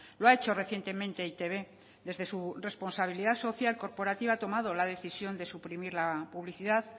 lo ha hecho recientemente eitb desde su responsabilidad social corporativa ha tomado la decisión de suprimir la publicidad